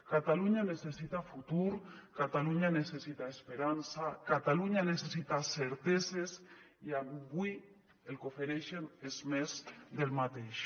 catalunya necessita futur catalunya necessita esperança catalunya necessita certeses i avui el que ofereixen és més del mateix